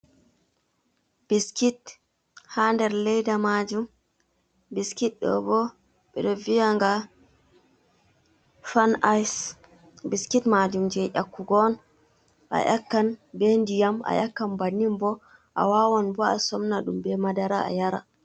Biskit hader leɗa majum, ɓiskit dobo ɓedo viyanga fan ice, ɓiskit majum je yakkugo on, a yakkan ɓediyam a yakkan bannin bo, a wawan bo a somna dum ɓe madara ayara.